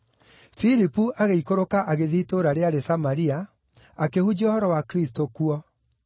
Filipu agĩikũrũka agĩthiĩ itũũra rĩarĩ Samaria, akĩhunjia ũhoro wa Kristũ kuo.